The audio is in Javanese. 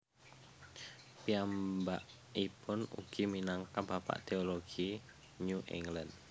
Piyambakipun ugi minangka bapak teologi New England